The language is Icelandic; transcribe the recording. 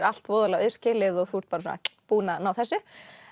allt voðalega auðskilið og þú ert bara svona búin að ná þessu